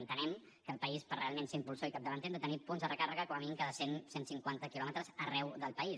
entenem que al país per realment ser impulsors i capdavanters hem de tenir punts de recàrrega com a mínim cada cent cent cinquanta quilòmetres arreu del país